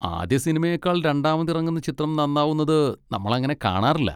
ആദ്യ സിനിമയേക്കാൾ രണ്ടാമതിറങ്ങുന്ന ചിത്രം നന്നാവുന്നത് നമ്മളങ്ങനെ കാണാറില്ല.